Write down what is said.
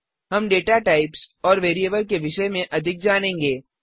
हम data types और variable के विषय में अधिक जानेंगे